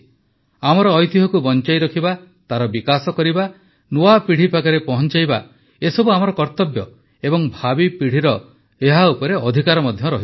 ଆମର ଐତିହ୍ୟକୁ ବଂଚାଇ ରଖିବା ତାର ବିକାଶ କରିବା ନୂଆ ପିଢ଼ି ପାଖରେ ପହଂଚାଇବା ଏସବୁ ଆମର କର୍ତବ୍ୟ ଏବଂ ଭାବୀ ପିଢ଼ିର ଏହା ଉପରେ ଅଧିକାର ମଧ୍ୟ ଅଛି